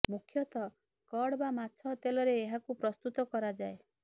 ମୁଖ୍ୟତଃ କଡ୍ ବା ମାଛ ତେଲରେ ଏହାକୁ ପ୍ରସ୍ତୁତ କରାଯାଏ